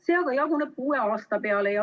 See aga jaguneb kuue aasta peale.